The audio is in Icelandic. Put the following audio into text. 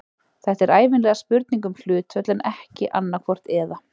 Þetta er ævinlega spurning um hlutföll en ekki annaðhvort eða.